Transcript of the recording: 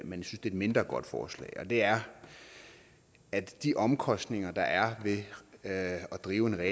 et mindre godt forslag og det er at de omkostninger der er ved at drive et